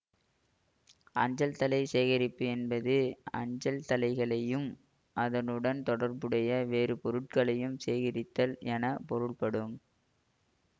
அஞ்சல்தலை சேகரிப்பு என்பது அஞ்சல்தலைகளையும் அதனுடன் தொடர்புடைய வேறு பொருட்களையும் சேகரித்தல் என பொருள்படும்